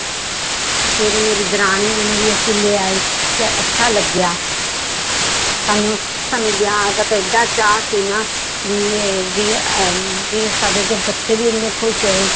ਫਿਰ ਮੇਰੀ ਦਰਾਣੀ ਨੂੰ ਵੀ ਅਸੀਂ ਲਿਆਏ ਤੇ ਅੱਛਾ ਲੱਗਿਆ ਸਾਨੂੰ ਸਾਨੂੰ ਵਿਆਹ ਦਾ ਤਾਂ ਏਡਾ ਚਾਅ ਸੀ ਨਾ ਵੀ ਇਹ ਵੀ ਅਹ ਵੀ ਸਾਡੇ ਤੇ ਬੱਚੇ ਵੀ ਇੰਨੇ ਖ਼ੁਸ਼ ਹੋਏ